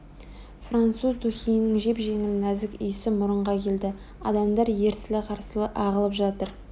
француз духиінің жеп-жеңіл нәзік иісі мұрынға келді адамдар ерсілі-қарсылы ағылып жатыр